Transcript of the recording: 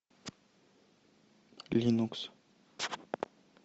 линукс